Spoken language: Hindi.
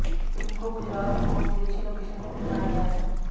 फिल्म को गुजरात और विदेशी लोकेशन में फिल्माया गया है